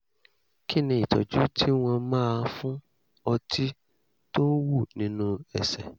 kí ni ìtọ́jú tí wọ́n máa fún ọtí tó ń wú nínú ẹsẹ̀?